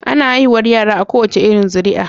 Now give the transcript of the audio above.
Ana haihuwar yara a kowace irin zuri a